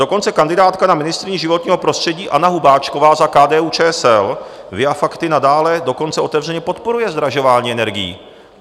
Dokonce kandidátka na ministryni životního prostředí, Anna Hubáčková za KDU-ČSL, via facti nadále dokonce otevřeně podporuje zdražování energií.